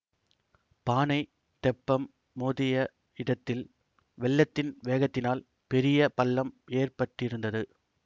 பானைத் தெப்பம் மோதிய இடத்தில் வெள்ளத்தின் வேகத்தினால் பெரிய பள்ளம் ஏற்பட்டிருந்தது